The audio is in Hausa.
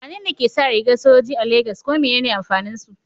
Wane ne ke sa rigar sojoji a Legas, kuma menene amfanin su?